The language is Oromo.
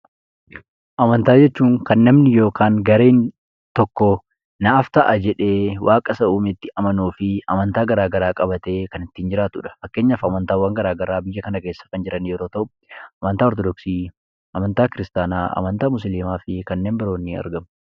Amantaa jechuun kan namni yookaan gareen tokko naaf ta'a jedhee waaqa isa uumetti sagaduu fi amantaa gara garaa qabatee kan ittiin jiraatudha. Fakkeenyaaf amantaawwan gara garaa biyya kana keessa kan jiran yoo ta’u, amantaa Ortodooksii, amantaa Kiristaanaa, amantaa Musliimaa fi kanneen biroon ni argamu.